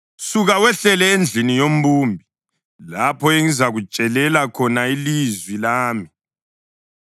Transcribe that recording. “Suka wehlele endlini yombumbi, lapho engizakutshelela khona ilizwi lami.”